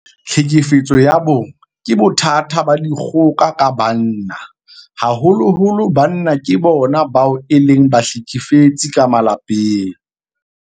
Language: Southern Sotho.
Tlhekefetso ya bong ke bothata ba dikgoka ka banna. Haholoholo banna ke bona bao e leng bahlekefetsi ka malapeng.